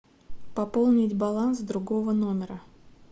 пополнить баланс другого номера